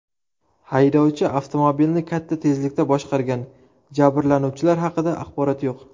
Haydovchi avtomobilni katta tezlikda boshqargan, jabrlanuvchilar haqida axborot yo‘q.